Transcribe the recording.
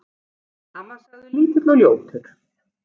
Hann var sagður lítill og ljótur.